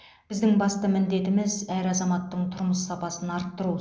біздің басты міндетіміз әр азаматтың тұрмыс сапасын арттыру